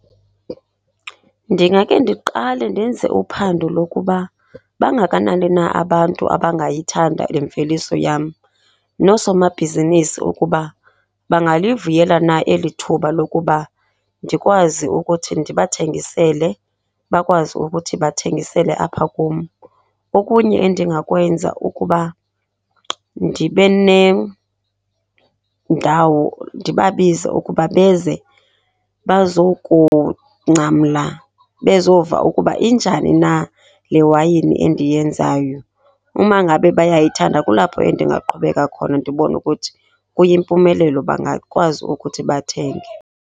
Ndingake ndiqale ndenze uphando lokuba bangakanani na abantu abangayithanda imveliso yam. Noosomabhizinisi ukuba bangalivuyela na eli thuba lokuba ndikwazi ukuthi ndibathengisele, bakwazi ukuthi bathengisele apha kum. Okunye endingakwenza kukuba ndibe nendawo, ndibabize ukuba beze bazokungcamla, bezova ukuba injani na le wayini endiyenzayo. Uma ngabe bayayithanda kulapho endingaqhubeka khona ndibone ukuthi, kuyimpumelelo bangakwazi ukuthi bathenge.